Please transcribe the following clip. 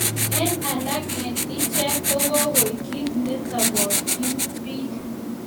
En alak en ichek ko kogoik kit ne tobokyin biik